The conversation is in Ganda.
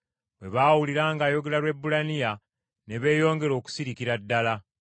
Bwe baawulira ng’ayogera Lwebbulaniya ne beeyongera okusirikira ddala.